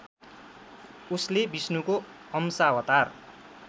उसले विष्णुको अंशावतार